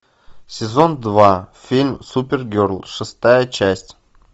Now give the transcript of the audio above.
сезон два фильм супергерл шестая часть